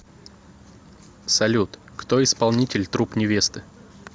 салют кто исполнитель труп невесты